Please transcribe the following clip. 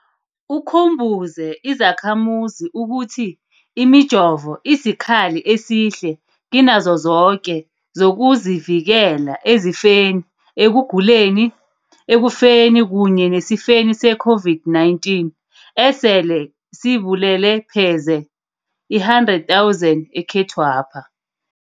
Ukhumbuze izakhamuzi ukuthi imijovo isikhali esihle kinazo zoke zokuzivikela ezifeni ekuguleni, ekufeni kunye nesifeni se-COVID-19 esele sibulele pheze i-100 000 ekhethwapha.